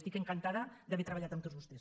estic encantada d’haver treballat amb tots vostès